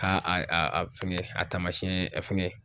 Ka a a a fingɛ a taamasiyɛn fɛngɛ